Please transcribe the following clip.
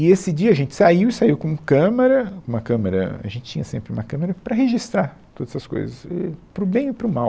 E esse dia a gente saiu, e saiu com câmera, uma câmera, a gente tinha sempre uma câmera para registrar todas as coisas, éh, para o bem e para o mal.